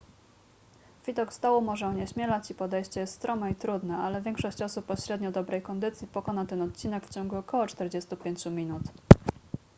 widok z dołu może onieśmielać i podejście jest strome i trudne ale większość osób o średnio dobrej kondycji pokona ten odcinek w ciągu około 45 minut